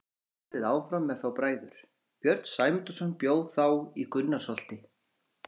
Síðan er haldið áfram með þá bræður: Björn Sæmundarson bjó þá í Gunnarsholti.